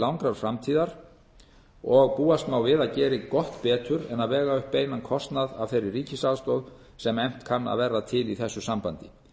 langrar framtíðar sem búast má við að geri gott betur en að vega upp beinan kostnað af þeirri ríkisaðstoð sem efnt kann að ver a til í þessu sambandi